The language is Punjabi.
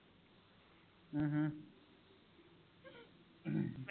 ਅਮ ਹਮ